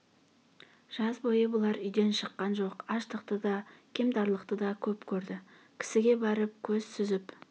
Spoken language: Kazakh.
жаз бойы бұлар үйден шыққан жоқ аштықты да кемтарлықты да көп көрді кісіге барып көз сүзіп